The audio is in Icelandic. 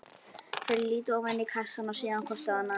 Þau líta ofan í kassann og síðan hvort á annað.